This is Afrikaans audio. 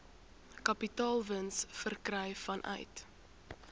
kapitaalwins verkry vanuit